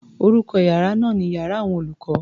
Orúkọ iyàrá náà ni iyàrá àwọn olùkó.